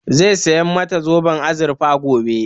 Zai saya mata zoben azurfe gobe